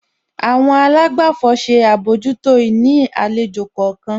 Àwọn àlágbàfọ̀ ṣe àbójútó ìní àlejò kọ̀ọ̀kan.